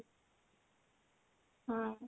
ହଁ